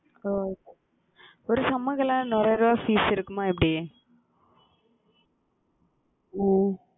ஓஹ் ஒரு fees இருக்குமா எப்படி உம்